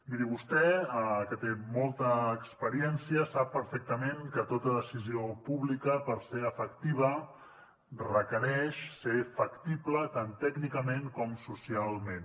miri vostè que té molta experiència sap perfectament que tota decisió pública perquè sigui efectiva requereix que sigui factible tant tècnicament com socialment